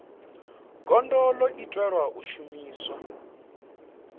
gondo ḽo itelwa u shumiswa